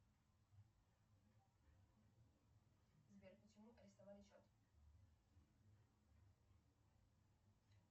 сбер почему арестовали счет